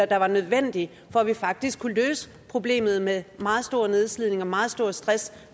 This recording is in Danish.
der var nødvendigt for at vi faktisk kunne løse problemet med meget stor nedslidning og meget stor stress